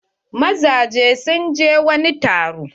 Mazajen sun je wani taro.